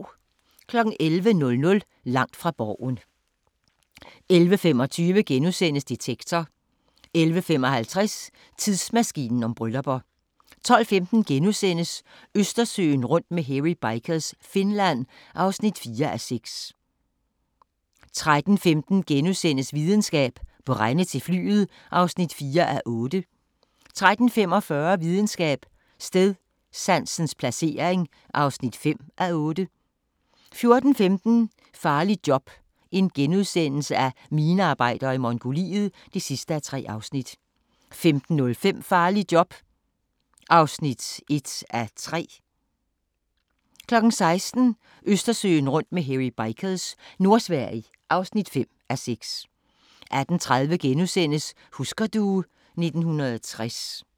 11:00: Langt fra Borgen 11:25: Detektor * 11:55: Tidsmaskinen om bryllupper 12:15: Østersøen rundt med Hairy Bikers – Finland (4:6)* 13:15: Videnskab: Brænde til flyet (4:8)* 13:45: Videnskab: Stedsansens placering (5:8) 14:15: Farligt job – minearbejder i Mongoliet (3:3)* 15:05: Farligt job (1:3) 16:00: Østersøen rundt med Hairy Bikers – Nordsverige (5:6) 18:30: Husker du ... 1960 *